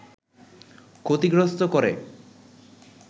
ক্ষতিগ্রস্ত করে